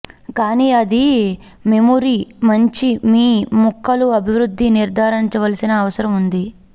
కానీ అది మెమొరి మంచి మీ ముక్కలు అభివృద్ధి నిర్ధారించవలసిన అవసరం ఉంది